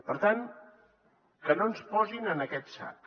per tant que no ens posin en aquest sac